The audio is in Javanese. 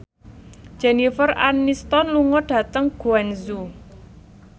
Jennifer Aniston lunga dhateng Guangzhou